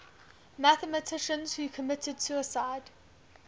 mathematicians who committed suicide